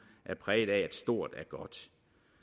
er præget af at stort er godt